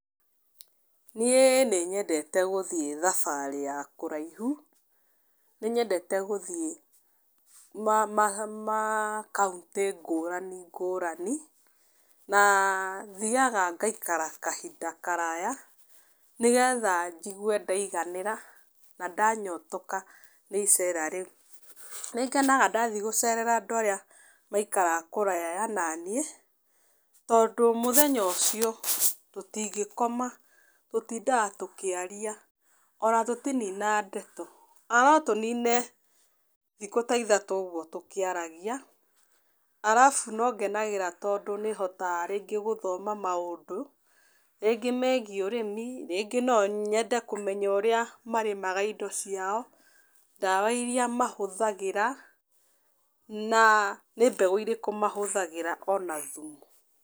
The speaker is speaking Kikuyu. Niĩ nĩ nyendete gũthiĩ thabarĩ ya kũraihu. Nĩ nyendete gũthiĩ makauntĩ ngũrani ngũrani. Na thiaga ngaikara kahinda karaya, nĩgetha njigue ndaiganĩra, na ndanyotoka nĩ iceera rĩu. Nĩ ngenega ndathi gũcerera andũ arĩa maikaraga kũraya naniĩ, tondũ mũthenya ũcio, tũtingĩkoma, tũtindaga tũkĩaria. Ona tũtininaga ndeto. Ona no tũnine thikũ ta ithatũ ũguo tũkĩaragia. Arabu no ngenagĩra tondũ nĩ hotaga rĩngĩ gũthoma maũndũ, rĩngĩ megiĩ ũrĩmi, rĩngĩ no nyende kũmenya ũrĩa marĩmaga indo ciao, ndawa irĩa mahũthagĩra, na nĩ mbegũ irĩkũ mahũthagĩra ona yo.